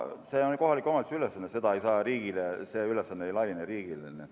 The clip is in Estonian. See on kohaliku omavalitsuse ülesanne, see ülesanne ei laiene riigile.